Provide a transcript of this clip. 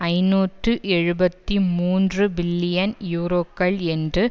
ஐநூற்று எழுபத்தி மூன்று பில்லியன் யூரோக்கள் என்று